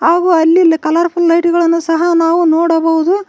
ಹಾಗೂ ಅಲ್ಲಿ ಇಲ್ಲ ಕಲರ್ ಫುಲ್ ಲೈಟ್ ಗಳನ್ನು ಸಹ ನಾವು ನೋಡಬಹುದು.